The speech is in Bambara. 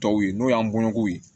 Tɔw ye n'o y'an bɔnɲɔgɔnw ye